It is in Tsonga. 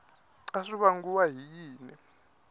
a swi vangiwa hi yini